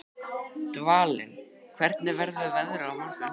Dvalinn, hvernig verður veðrið á morgun?